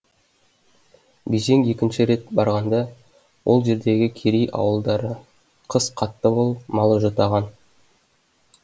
бежең екінші рет барғанда ол жердегі керей ауылдары қыс қатты болып малы жұтаған